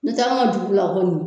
Ni tɛ an ga dugu la kɔni